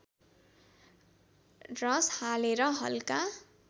रस हालेर हल्का